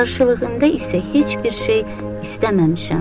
Qarşılığında isə heç bir şey istəməmişəm.